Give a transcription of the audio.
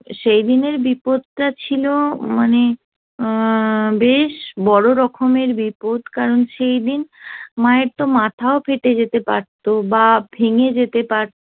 সেই দিনের বিপদটা ছিল মানে অ্যা বেশ বড় রকমের বিপদ কারণ সেই দিন মায়ের তো মাথাও ফেটে যেতে পারত বা ভেঙে যেতে পারতো